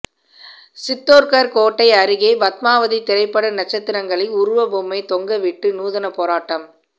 சித்தோர்கர் கோட்டை அருகே பத்மாவதி திரைப்பட நட்சத்திரங்களின் உருவ பொம்மை தொங்கவிட்டு நூதன போராட்டம்